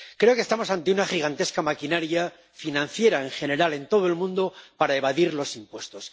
Creo que estamos ante una gigantesca maquinaria financiera en general, en todo el mundo, para evadir impuestos.